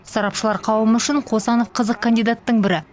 сарапшылар қауымы үшін қосанов қызық кандидаттың бірі